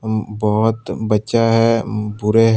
बहुत बच्चा है उम्म पूरे--